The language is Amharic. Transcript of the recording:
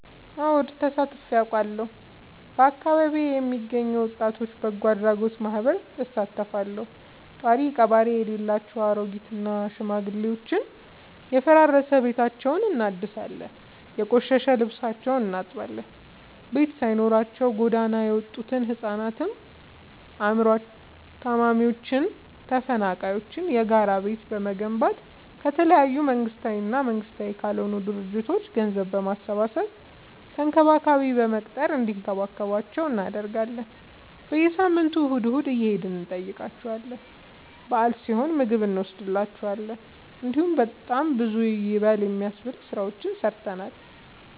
አወድ ተሳትፊ አውቃለሁ። በአካቢዬ የሚገኝ የወጣቶች በጎአድራጎት ማህበር እሳተፋለሁ። ጦሪቀባሪ የሌላቸው አሬጊት እና ሽማግሌዎችን የፈራረሰ ቤታቸውን እናድሳለን፤ የቆሸሸ ልብሳቸውን እናጥባለን፤ ቤት ሳይኖራቸው ጎዳና የወጡቱ ህፃናትን አይምሮ ታማሚዎችን ተፈናቃይዎችን የጋራ ቤት በመገንባት ከተለያዩ መንግስታዊ እና መንግስታዊ ካልሆኑ ድርጅቶች ገንዘብ በማሰባሰብ ተንከባካቢ በመቅጠር እንዲከባከቧቸው እናደርጋለን። በየሳምንቱ እሁድ እሁድ እየሄድን እንጠይቃቸዋለን በአል ሲሆን ምግብ እኖስድላቸዋለን። እንዲሁም በጣም ብዙ ይበል የሚያስብ ስራዎችን ሰርተናል።